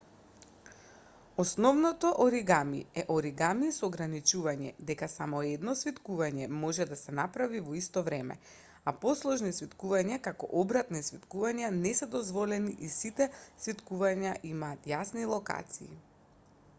основното оригами е оригами со ограничување дека само едно свиткување може да се направи во исто време а посложени свиткувања како обратни свиткувања не се дозволени и сите свиткувања имаат јасни локации